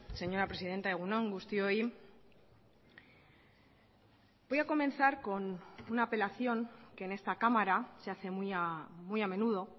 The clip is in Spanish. señora presidenta egun on guztioi voy a comenzar con una apelación que en esta cámara se hace muy a menudo